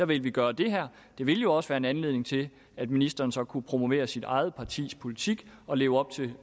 vil vi gøre det her det ville jo også være en anledning til at ministeren så kunne promovere sit eget partis politik og leve op til